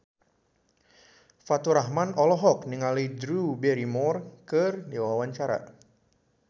Faturrahman olohok ningali Drew Barrymore keur diwawancara